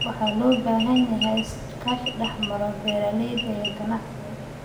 Waxaa loo baahan yahay iskaashi dhex mara beeralayda iyo ganacsatada.